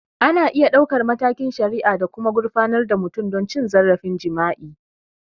Ana iya ɗaukar matakin shari'a da kuma gurfanar da mutum don cin zarafin jima'i.